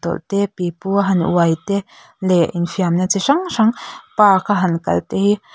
te pipua han uai te leh infiamna chi hrang hrang park a han kal te hi.